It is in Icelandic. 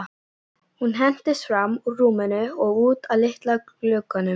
Hún hentist fram úr rúminu og út að litla glugganum.